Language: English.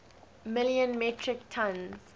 million metric tons